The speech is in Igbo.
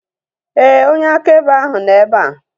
Éè, onye akaebe ahu nọ ebea